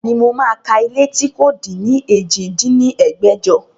Bẹ́ẹ̀ni, mo máa ka ilé tí kò din ní èjì dín ní ẹgbẹ́jọ